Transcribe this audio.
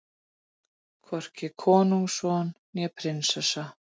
Hvorki konungsson né prinsessa.